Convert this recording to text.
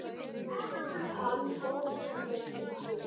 Hann tók það til sín